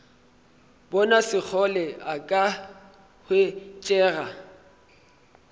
bona sekgole a ka hwetšega